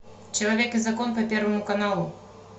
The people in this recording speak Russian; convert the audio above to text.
человек и закон по первому каналу